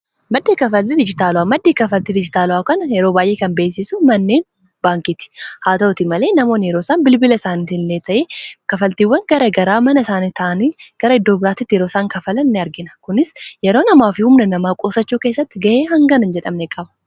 Maddii kaffalti dijitaalaa maddii kaffaltii dijitaala'aa kan yeroo baay'ee kan beesisu manneen baankiiti haa ta'uti malee namoon yeroosaan bilbila isaanitiilee ta'ee kafaltiiwwan gara garaa mana isaantaanii gara iddoo biraattiti yerooisaan kafalan ini argina kunis yeroo namaafi humna namaa qosachuu kessatti ga'ee hangana hin jedhamne qaba.